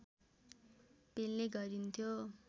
पेल्ने गरिन्थ्यो